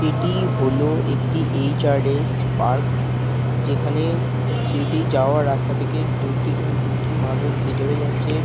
এটি হল একটি এইচ.আর.এস. পার্ক যেখানে যেটি যাওয়ার রাস্তা থেকে দু দুটি মানুষ ভিতরে যাচ্ছে |